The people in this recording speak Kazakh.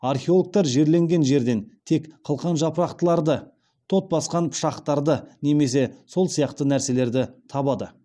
археологтар жерленген жерлерден тек қылқан жапырақтыларды тот басқан пышақтарды немесе сол сияқты нәрселерді табады